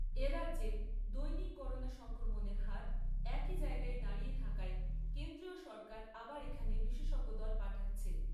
এক। এ রাজ্যে দৈনিক করোনা সংক্রমণের হার একই জায়গায় দাঁড়িয়ে থাকায়, কেন্দ্রীয় সরকার আবার এখানে বিশেষজ্ঞ দল পাঠাচ্ছে।